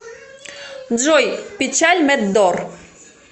джой печаль мэд дор